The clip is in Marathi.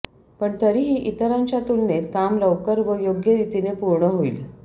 पण तरीही इतरांच्या तुलनेत काम लवकर व योग्यरीतीने पूर्ण होईल